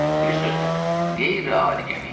Bir sözlə, qeyri-adi gəmi idi.